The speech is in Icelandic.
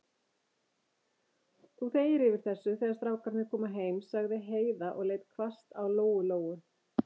Þú þegir yfir þessu, þegar strákarnir koma heim, sagði Heiða og leit hvasst á Lóu-Lóu.